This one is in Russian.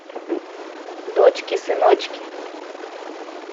дочки сыночки